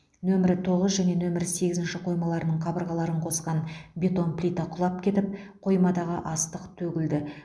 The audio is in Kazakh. нөмірі тоғыз және нөмірі сегізінші қоймаларының қабырғаларын қосқан бетон плита құлап кетіп қоймадағы астық төгілді